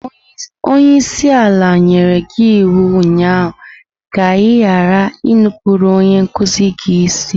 Onye isi ala nyere gị iwu ụnyaahụ ka ị ghara inupụrụ onye nkuzi gị isi!